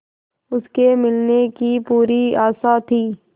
उसके मिलने की पूरी आशा थी